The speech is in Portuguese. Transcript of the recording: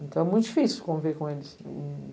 Então, é muito difícil conviver com eles. Hm